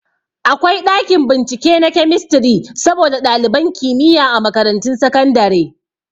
Akwai ɗakin bincike na kemistri saboda ɗaliban kimiyya a makarantun sakandare